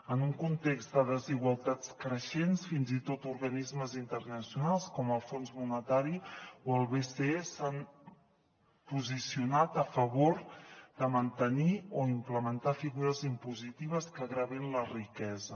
en un context de desigualtats creixents fins i tot organismes internacionals com el fons monetari o el bce s’han posicionat a favor de mantenir o implementar figures impositives que gravin la riquesa